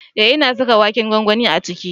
Eh na saka waken gwangwanin a ciki.